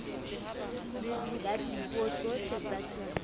ya dipuo tsohle tsa semmuso